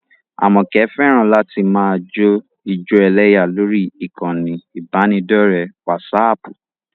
Àmọ̀kẹ́ fẹ́ràn láti máa jó ijó ẹlẹ́yà lórí ìkànnì ìbánidọ́ọ̀rẹ́ wásaaàpù